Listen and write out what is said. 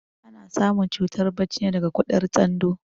Ana samun cutar barci ne daga kuɗar tsando